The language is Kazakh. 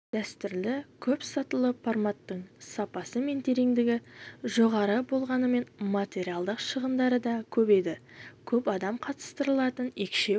дәстүрлі көп сатылы форматтың сапасы мен тереңдігі жоғары болғанымен материалдық шығындары да көп еді көп адам қатыстырылатын екшеу